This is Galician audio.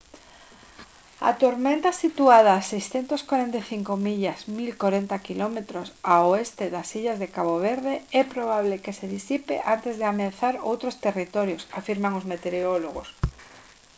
a tormenta situada a 645 millas 1040 km ao oeste das illas de cabo verde é probable que se disipe antes de ameazar outros territorios afirman os meteorólogos